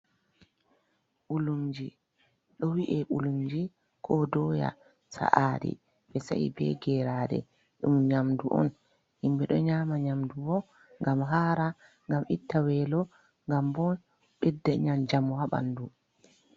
Ɓulumji, ɗo wi'e ɓulumji ko doya sa'aɗi, ɓe sa'i be geraɗe, ɗum nyamdu on himɓe do nyama nyamdu bo ngam Haara, ngam itta weelo, ngam bo ɓedda njamu haa ɓandu.